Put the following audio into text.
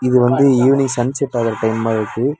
இது வந்து evening sunset ஆகுற டைம் மாரி இருக்கு.